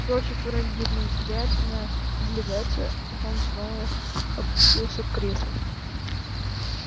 бросив враждебный взгляд на делегацию он снова опустился в кресло